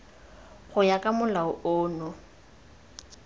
go ya ka molao ono